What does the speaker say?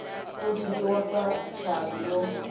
u dzhiwa sa tshavhi yo